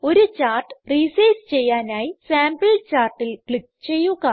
ഒരു chart resize ചെയ്യാനായി sample chartൽ ക്ലിക്ക് ചെയ്യുക